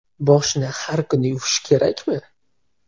Boshni har kuni yuvish kerakmi?.